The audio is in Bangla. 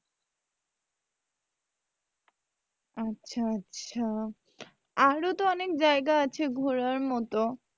আচ্ছা আচ্ছা আরও তো অনেক জায়গা আছে ঘোরার মতো,